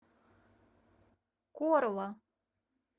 корла